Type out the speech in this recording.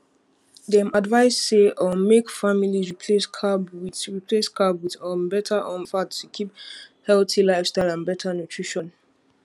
dem advise say um make families replace carb with replace carb with um better um fat to keep healthy lifestyle and better nutrition